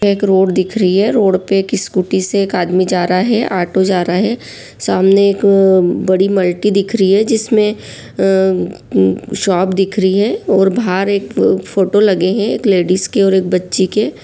एक रोड दिख रही है रोड पे एक स्कूटी से एक आदमी जा रहा है ऑटो जा रहा है सामने एक बड़ी मल्टी दिख रही है जिसमें अम म शॉप दिख रही है और बाहर एक फोटो लगें हैं एक लेडिस के और एक बच्ची के।